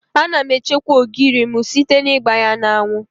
Ana m echekwa ogiri m site n'igba ya n'anwụ.